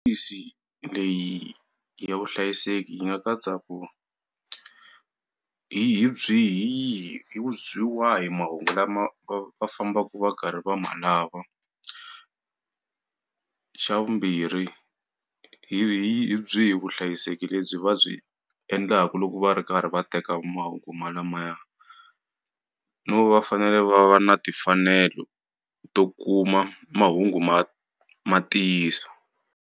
leyi ya vuhlayiseki yi nga katsa ku hi hi byihi hi yihi mahungu lama va fambaku va karhi va ma lava xa vumbirhi hi hi hi byihi vuhlayiseki lebyi va byi endlaku loko va ri karhi va teka mahungu ma lamaya no va fanele va va na timfanelo to kuma mahungu ma ma ntiyiso.